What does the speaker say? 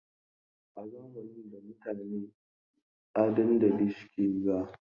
A zamanin da mutane a dandali suke hira.